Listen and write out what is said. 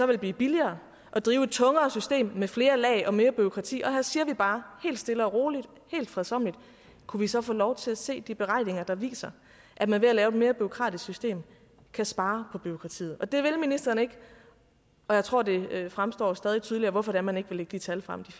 vil blive billigere at drive et tungere system med flere lag og mere bureaukrati og her siger vi bare helt stille og roligt helt fredsommeligt kunne vi så få lov til at se de beregninger der viser at man ved at lave et mere bureaukratisk system kan spare på bureaukratiet det vil ministeren ikke og jeg tror det fremstår stadig tydeligere hvorfor man ikke vil lægge de tal frem